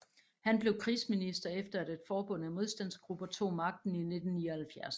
Han blev krigsminister efter at et forbund af modstandsgrupper tog magten in 1979